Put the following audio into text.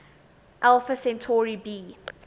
alpha centauri b